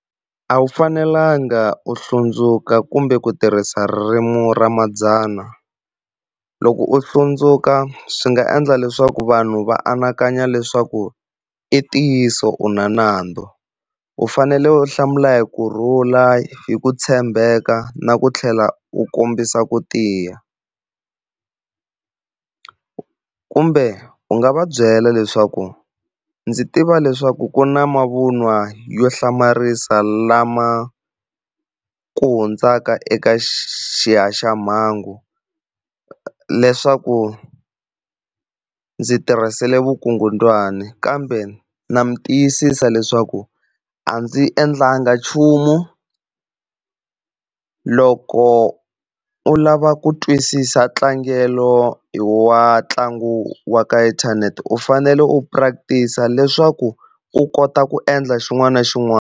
A wu fanelanga u hlundzuka kumbe ku tirhisa ririmi ra madzana. Loko u hlundzuka swi nga endla leswaku vanhu va anakanya leswaku i ntiyiso u na nandzu u fanele u hlamula hi kurhula hi ku tshembeka na ku tlhela u kombisa ku tiya. Kumbe u nga va byela leswaku ndzi tiva leswaku ku na mavun'wa yo hlamarisa lama ku hundzaka eka xihaxamhangu, leswaku ndzi tirhisile vukungundzwani kambe ndza mi tiyisisa leswaku a ndzi endlangi nchumu. Loko u lava ku twisisa tlangelo wa ntlangu wa ka inthanete u fanele u practice leswaku u kota ku endla xin'wana na xin'wana.